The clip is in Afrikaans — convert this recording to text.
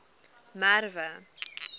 merwe